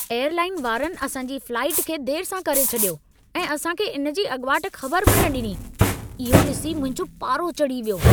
Airline वारनि असां जी फ्लाइट खे देर सां करे छॾियो ऐं असां खे इन जी अॻिवाट ख़बर बि न ॾिनी। इहो ॾिसी मुंहिंजो पारो चढी वियो।